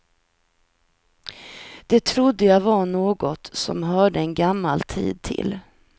Det trodde jag var något som hörde en gammal tid till.